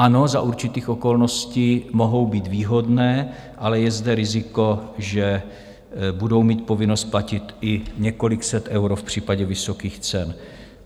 Ano, za určitých okolností mohou být výhodné, ale je zde riziko, že budou mít povinnost platit i několik set eur v případě vysokých cen.